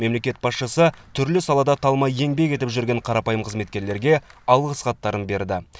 мемлекет басшысы түрлі салада талмай еңбек етіп жүрген қарапайым қызметкерлерге алғыс хаттарын берді